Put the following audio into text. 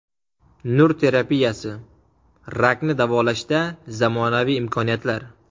Nur terapiyasi: rakni davolashda zamonaviy imkoniyatlar.